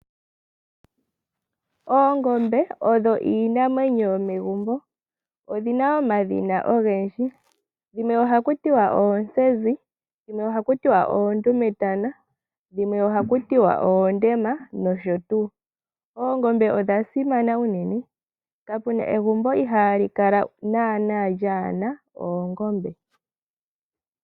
Oongombe odho iinamwenyo yomegumbo, odhina omadhina ogendji dhimwe ohaku tiwa onzenzi, dhimwe oha ku tiwa oondumetana, dhimwe oha ku tiwa oondema nosho tuu. Ongombe odha simana uunene, kapuna egumbo hali kala nana lyaana oongombe.